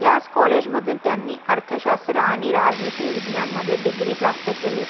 याच COLLEGE मधून त्यांनी अर्थशास्त्र आणि राजनीति विज्ञान मध्ये degree प्राप्त केली